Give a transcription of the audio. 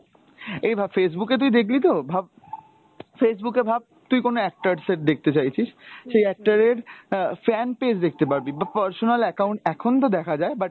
I ধর Facebook এ তুই দেখলি তো ভাব, Facebook এ ভাব তুই কোনো actors এর দেখতে চাইছিস, সেই actor এর আহ fanpage দেখতে পারবি বা personal account এখন তো দেখা যায় but,